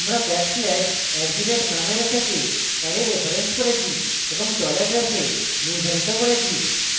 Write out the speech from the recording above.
আমরা backslash @numarray থেকে সাথে অ্যারে referenced করেছি এবং $ref we নির্ধারিত করেছি